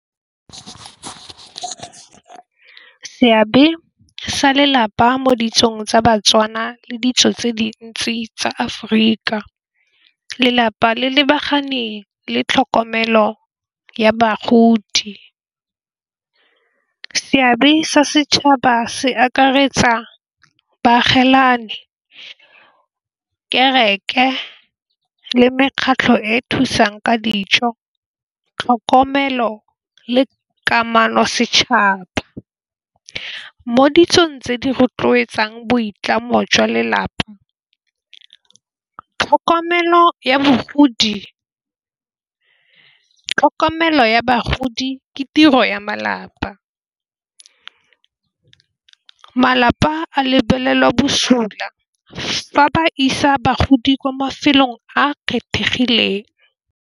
Seabe sa lelapa mo ditsong tsa Batswana le ditso tse dintsi tsa Aforika. Lelapa le lebaganeng le tlhokomelo ya bagodi. Seabe sa setšhaba se akaretsa baagelani, kereke le mekgatlho e e thusang ka dijo. Tlhokomelo le kamano setšhaba mo ditsong tse di rotloetsang boitlamo jwa lelapa tlhokomelo ya bagodi. Tlhokomelo ya bagodi ke tiro ya malapa, malapa a lebelelwa bosula fa ba isa bagodi kwa mafelong a kgethegileng.